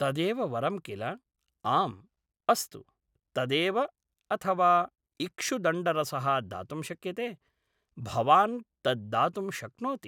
तदेव वरं किल आम् अस्तु तदेव अथवा इक्षुदण्डरसः दातुं शक्यते, भवान् तद्दातुं शक्नोति